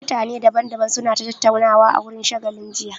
Mutane daban daban su na ta tattaunawa a wurin shagalin jiya